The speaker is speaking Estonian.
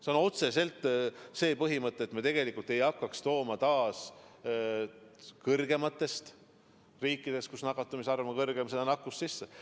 See on otseselt see põhimõte, et me ei hakkaks taas tooma riikidest, kus nakatumiste arv on suurem, seda nakkust sisse.